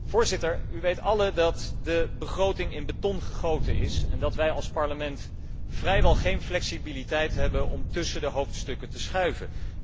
Voorzitter, u weet allen dat de begroting in beton gegoten is en dat wij als Parlement vrijwel geen flexibiliteit hebben om tussen de hoofdstukken te schuiven.